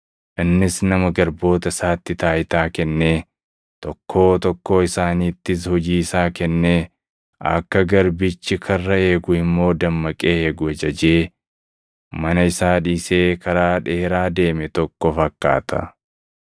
Innis nama garboota isaatti taayitaa kennee, tokkoo tokkoo isaaniittis hojii isaa kennee, akka garbichi karra eegu immoo dammaqee eegu ajajee, mana isaa dhiisee karaa dheeraa deeme tokko fakkaata.